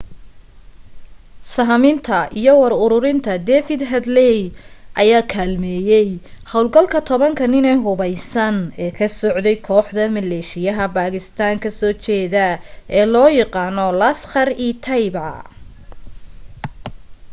sahminta iyo war uruurinta david headley ayaa kaalmeeyey hawlgalka 10ka nin hubeysan ee ka socday kooxda maleeshiyaha bakistaan ka soo jeedo ee loo yaqaano laskhar-e-taiba